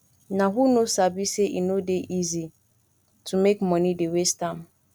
nah who no sabi sey e no dey easy to make moni dey waste am